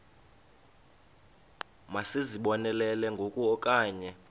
masizibonelele ngoku okanye